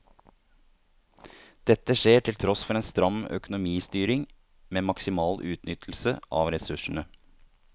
Dette skjer til tross for en stram økonomistyring med maksimal utnyttelse av ressursene.